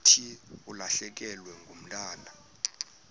thi ulahlekelwe ngumntwana